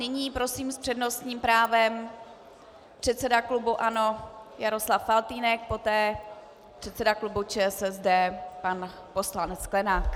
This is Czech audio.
Nyní prosím s přednostním právem předseda klubu ANO Jaroslav Faltýnek, poté předseda klubu ČSSD pan poslanec Sklenák.